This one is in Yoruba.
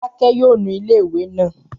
Fọlákẹ́ yóò nu ilé ìwé náà